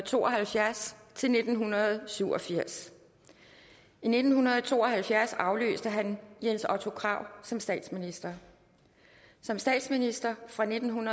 to og halvfjerds til nitten syv og firs i nitten to og halvfjerds afløste han jens otto krag som statsminister som statsminister fra nitten